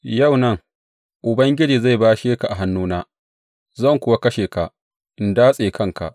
Yau nan, Ubangiji zai bashe ka a hannuna, zan kuwa kashe ka, in datse kanka.